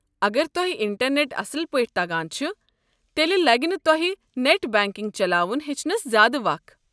اگر تۄہہِ انٹرنٮ۪ٹ اصٕل پٲٹھۍ تگان چھُ تیٚلہِ لگہِ نہٕ تۄہہِ نٮ۪ٹ بنٛکنٛگ چلاوُن ہیٚچھنس زیٛادٕ وق۔